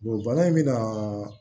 bana in bɛ na